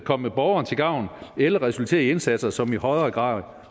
komme borgeren til gavn eller resultere i indsatser som i højere grad